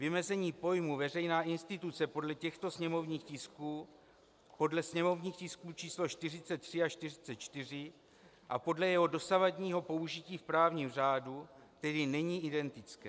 Vymezení pojmu veřejná instituce podle těchto sněmovních tisků, podle sněmovních tisků č. 43 a 44, a podle jeho dosavadního použití v právním řádu tedy není identické.